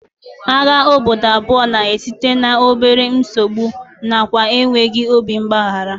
Agha obodo abụọ na-esite n'obere nsogbu nakwa enweghị obi mgbaghara